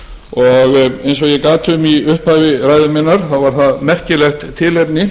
og eins og ég gat um í upphafi ræðu minnar þá er það merkilegt tilefni